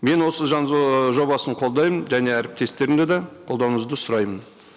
мен осы жобасын қолдаймын және әріптестерімді де қолдауыңызды сұраймын